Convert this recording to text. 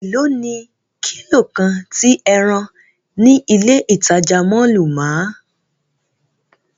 Elo ni kilo kan ti ẹran ni ile itaja mọllu máa?